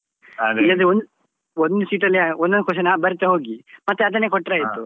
ಇಲ್ಲದ್ರೆ ಒಂದ್ ಒಂದು ಚೀಟಿ ಅಲ್ಲಿ ಒಂದೊಂದು question ಬರೀತಾ ಹೋಗಿ ಮತ್ತೆ ಅದನ್ನೇ ಕೊಟ್ಟ್ರೆ ಆಯ್ತು.